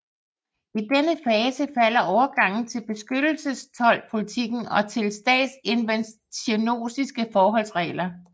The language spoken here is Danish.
I denne fase falder overgangen til beskyttelsestoldpolitikken og til statsinterventionistiske forholdsregler